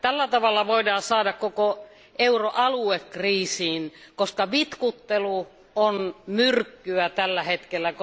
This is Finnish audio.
Tällä tavalla voidaan saada koko euro alue kriisiin, koska vitkuttelu on myrkkyä tällä hetkellä.